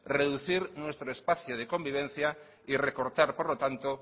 reducir nuestro espacio de convivencia y recortar por lo tanto